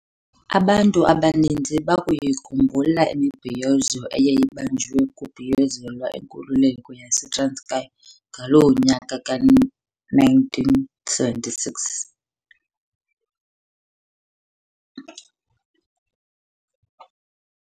Abantu abaninzi bayakuyikhumbula imibhiyozo eyayibanjiwe kubhiyozelwa inkululeko yaseTranskei ngalo nyaka ka1976.